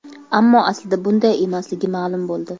Ammo aslida bunday emasligi ma’lum bo‘ldi.